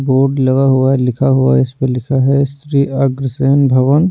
board लगा हुआ लिखा हुआ इस पे लिखा है श्री अग्रसेन भवन--